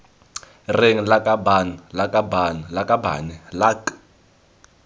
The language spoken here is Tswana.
reng lakabaaan lakabaaan lakabane lak